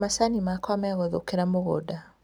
Macani makwa megũthũkĩra mũgũnda